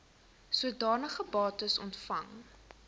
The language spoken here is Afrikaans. sodanige bates ontvang